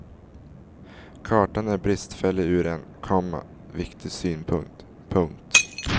Kartan är bristfällig ur en, komma viktig synpunkt. punkt